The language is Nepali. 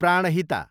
प्राणहिता